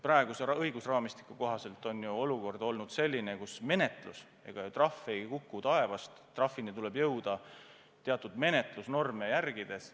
Praeguse õigusraamistiku kohaselt on olukord selline, kus menetlus ega trahv ei kuku taevast, trahvini tuleb jõuda teatud menetlusnorme järgides.